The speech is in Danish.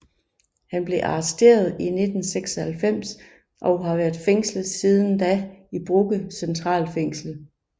Han blev arresteret i 1996 og har været fængslet siden da i Brugge centralfængsel